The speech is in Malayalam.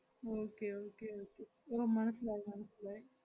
okay okay okay ഓ മനസ്സിലായി മനസ്സിലായി.